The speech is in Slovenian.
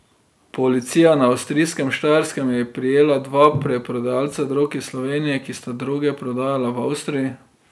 Policija na avstrijskem Štajerskem je prijela dva preprodajalca drog iz Slovenije, ki sta droge prodajala v Avstriji.